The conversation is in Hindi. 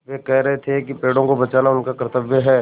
वे कह रहे थे कि पेड़ों को बचाना उनका कर्त्तव्य है